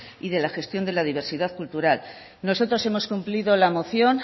y de la gestión de la diversidad cultural nosotros hemos cumplido la moción